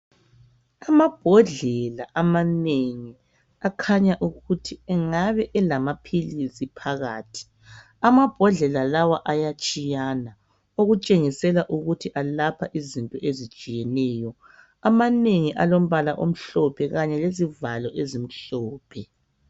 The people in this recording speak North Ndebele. Amabhodlela amanengi akhanya ukuthi angabe elamaphilisi phakathi. Amabhodlela lawa ayatshiyana okutshengisela ukuthi alapha izinto ezitshiyeneyo .Amanengi alombala omhlophe kanye lezivalo ezimhlophe.